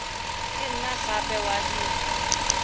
ka nna gape wa dira